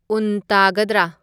ꯎꯟ ꯇꯥꯒꯗ꯭ꯔꯥ